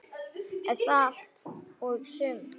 Er það allt og sumt?